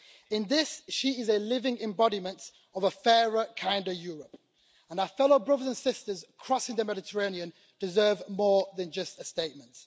In this, she is a living embodiment of a fairer, kinder Europe, and our fellow brothers and sisters crossing the Mediterranean deserve more than just a statement.